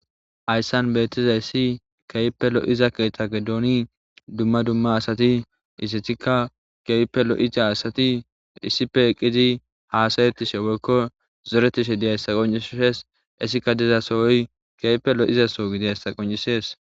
Ayssan beetizayssi keype lo7iza ketagedooni dumma dumma asati isethikka keype lo7iza asati issipe eqqizi haasayettishe woykko zoretishe diyaysa qoncisshes issika dezasowoy keype lo7izaso gidiyayssa qoncisees.